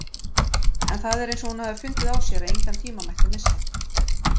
En það er eins og hún hafi fundið á sér að engan tíma mætti missa.